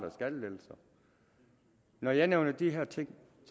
i skattelettelser når jeg nævner de her ting